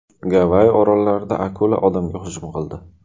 Gavayi orollarida akula odamga hujum qildi.